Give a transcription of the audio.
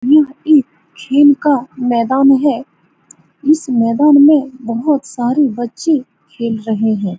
यह एक खेल का मैदान है। इस मैदान में बहुत सारे बच्चे खेल रहे है।